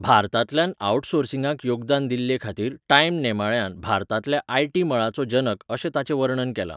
भारतांतल्यान आवटसोर्सिंगाक योगदान दिल्लेखाातीर टायम नेमाळ्यान 'भारतांतल्या आयटी मळाचो जनक' अशें ताचें वर्णन केलां.